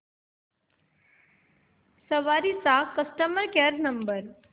सवारी चा customer care number